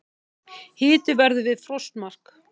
Hiti verður við frostmark